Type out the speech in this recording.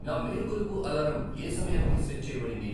నా మేల్కొలుపు అలారం ఏ సమయానికి సెట్ చేయబడింది